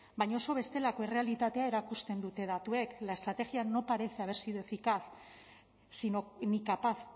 baina oso bestelako errealitatea erakusten dute datuek la estrategia no parece haber sido eficaz sino ni capaz